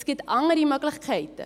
Es gibt andere Möglichkeiten: